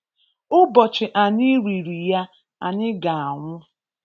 Ụbọchị anyị riri ya, anyị ga anwụ.